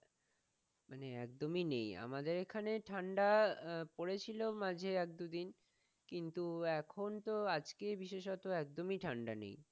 মানে একদমই নেই আমাদের এখানে ঠাণ্ডা পরেছিল, মাঝে এক দুদিন কিন্তু এখন তো আজকে বিশেষত একদমই ঠাণ্ডা নেই।